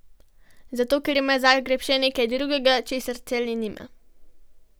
Zato, ker ima Zagreb še nekaj drugega, česar Celje nima.